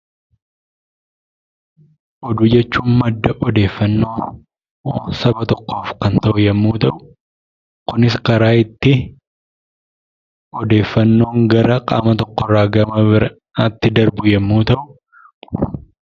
Oduu jechuun madda odeeffannoo saba tokkoof yemmuu ta'u, kunis karaa itti odeeffannoon qaama tokko irraa gara itti darbu yemmuu ta'u .